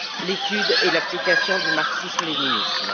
l'étude et l'application du marxisme léninisme.